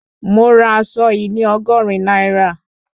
Mo ra aṣọ yìí ní Ọgọ́rin náírà